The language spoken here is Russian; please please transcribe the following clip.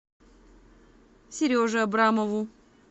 сереже абрамову